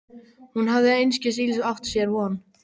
Hún hafði einskis ills átt sér von.